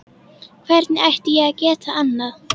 Hvernig ætti ég að geta annað?